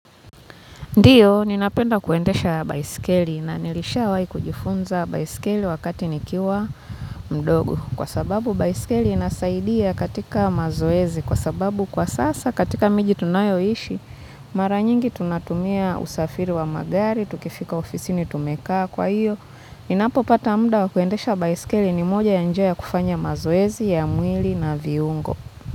Ndiyo, ninapenda kuendesha baisikeli na nilishawahi kujifunza baisikeli wakati nikiwa mdogo. Kwa sababu, baisikeli inasaidia katika mazoezi. Kwa sababu, kwa sasa, katika miji tunayoishi, mara nyingi tunatumia usafiri wa magari, tukifika ofisini tumekaa. Kwa hiyo, ninapopata muda wa kuendesha baiskeli ni moja ya njia ya kufanya mazoezi ya mwili na viungo.